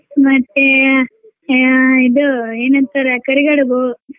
ಮತ್ತೆ ಆ ಇದು ಏನಂತಾರೆ ಕರಿಗಡುಬು.